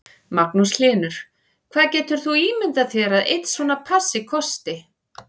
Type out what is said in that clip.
Magnús Hlynur: Hvað getur þú ímyndað þér að einn svona passi kosti?